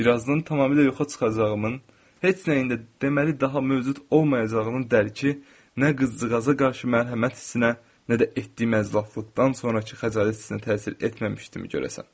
Bir azdan tamamilə yoxa çıxacağımın, heç nəyin də, deməli, daha mövcud olmayacağının dərki nə qızcığaza qarşı mərhəmət hissinə, nə də etdiyim əclafılıqdan sonrakı xəcalət hissinə təsir etməmişdimi görəsən?